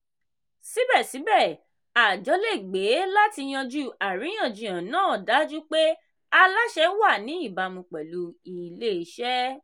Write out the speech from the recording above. síbẹ̀síbẹ̀ àjọ le gbé láti yanju àríyànjiyàn náà dájú pé aláṣẹ wà ní ìbámu pẹ̀lú ilé-iṣẹ́.